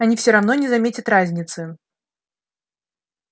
они всё равно не заметят разницы